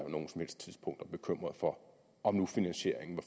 bekymret for om nu finansieringen